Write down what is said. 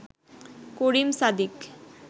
Karim Sadiq